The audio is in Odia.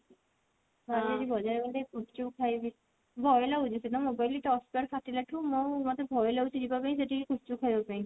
ଭାବୁଛି ଆଜି ବଜାର ଗଲେ ଗୁପଚୁପ୍ ଖାଇବି ଭୟ ଲାଗୁଛି ମୋତେ ଭୟ ଲାଗୁଛି ଯିବା ପାଇଁ ସେଠିକି ଗୁପଚୁପ୍ ଖାଇବା ପାଇଁ